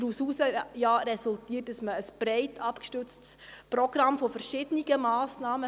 Daraus resultierte ja ein breit abgestütztes Programm verschiedener Massnahmen;